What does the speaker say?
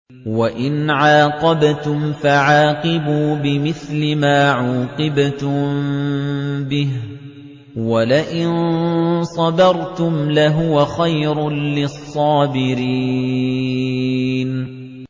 وَإِنْ عَاقَبْتُمْ فَعَاقِبُوا بِمِثْلِ مَا عُوقِبْتُم بِهِ ۖ وَلَئِن صَبَرْتُمْ لَهُوَ خَيْرٌ لِّلصَّابِرِينَ